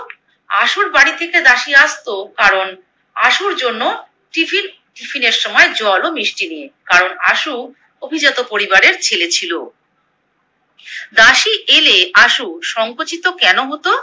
আশুর বাড়ি থেকে দাসী আসতো কারণ আশুর জন্য টিফিন টিফিনের সময় জল ও মিষ্টি নিয়ে, কারণ আশু অভিজাত পরিবারের ছেলে ছিলো। দাসী এলে আশু সংকোচিত কোনো হতো?